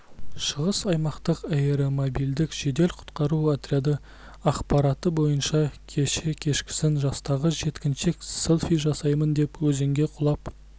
шығыс аймақтық аэромобильдік жедел-құтқару отряды ақпараты бойынша кеше кешкісін жастағы жеткіншек селфи жасаймын деп өзенге құлап